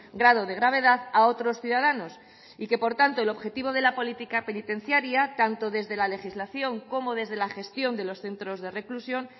grado de gravedad a otros ciudadanos y que por tanto el objetivo de la política penitenciaria tanto desde la legislación como desde la gestión de los centros de reclusión